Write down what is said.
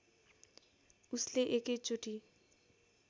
उसले एकै चोटी